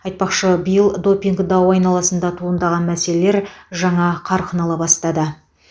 айтпақшы биыл допинг дауы айналысында туындаған мәселелер жаңа қарқын ала бастады